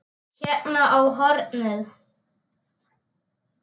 Hérna á hornið.